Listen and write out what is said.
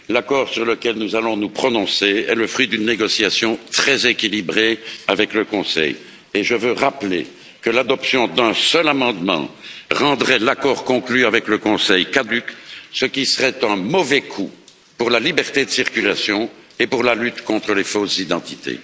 L'accord sur lequel nous allons nous prononcer est le fruit d'une négociation très équilibrée avec le Conseil et je veux rappeler que l'adoption d'un seul amendement rendrait l'accord conclu avec le Conseil caduc, ce qui serait un mauvais coup pour la liberté de circulation et pour la lutte contre les fausses identités.